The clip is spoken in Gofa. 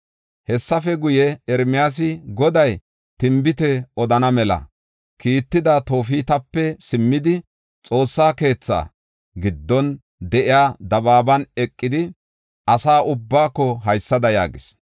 “Hessafe guye, Ermiyaasi Goday tinbite odana mela kiitida Toofetape simmidi, Xoossa keetha giddon de7iya dabaaban eqidi asa ubbaako haysada yaagis: